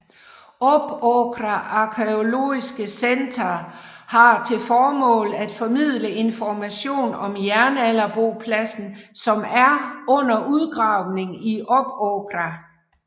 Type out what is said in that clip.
Uppåkra Arkæologiske Center har til formål at formidle information om jernalderbopladsen som er under udgravning i Uppåkra